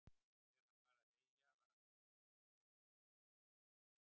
Þegar hann var að heyja var algengt að sjá hóp af krökkum í kringum hann.